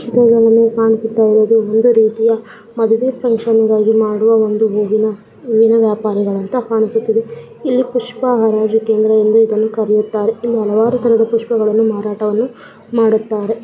ಚಿತ್ರದಲ್ಲಿ ಕಾಣಿಸುತ್ತಿರೋದು ಒಂದು ರೀತಿಯ ಮದುವೇ ಫಂಕ್ಷನ್ಗಾಗಿ ಮಾಡುವ ಒಂದು ಹೂವಿನ ಹೂವಿನ ವ್ಯಾಪಾರಿಗಳಂತ ಕಾಣಿಸುತ್ತಿದೆ ಇಲ್ಲಿ ಪುಷ್ಪ ಹರಾಜು ಕೇಂದ್ರ ಎಂದು ಇದನ್ನು ಕರೆಯುತ್ತಾರೆ ಇಲ್ಲಿ ಹಲವಾರು ತರದ ಪುಷ್ಪಗಳನ್ನು ಮಾರಾಟವನ್ನು ಮಾಡುತ್ತಾರೆ.